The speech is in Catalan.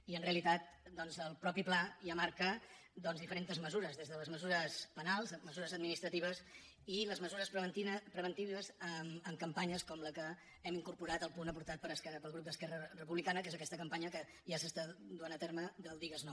i en realitat el mateix pla ja marca diferents mesures des de les mesures penals mesures administratives i les mesures preventives amb campanyes com la que hem incorporat en el punt aportat pel grup d’esquerra republicana que és aquesta campanya que ja s’està duent a terme del digues no